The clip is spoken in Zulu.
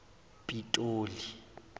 pitoli